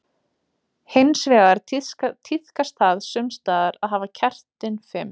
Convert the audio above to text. Hins vegar tíðkast það sums staðar að hafa kertin fimm.